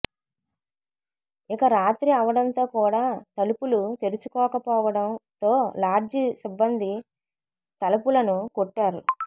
ఇక రాత్రి అవడంతో కూడా తలుపులు తెరుచుకోకపోవడంతో లాడ్జి సిబ్బంది తలపులను కొట్టారు